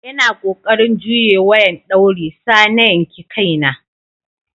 Ina kokarin juyye wayan dauri sa na yanki Kai na.